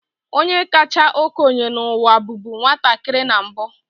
Onye kacha okenye n'ụwa bụbu nwatakịrị na mbu.